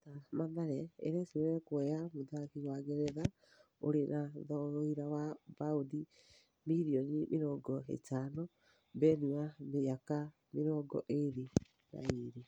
(Njata) Mathare ĩrecũrania kuoya mũthaki wa Ngeretha ũrĩ na thogira wa baũndi mirioni mĩrongo ĩtano, Beni wa mĩaka mĩrongo ĩrĩ na ĩrĩ.